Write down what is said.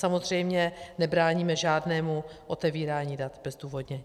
Samozřejmě nebráníme žádnému otevírání dat bezdůvodně.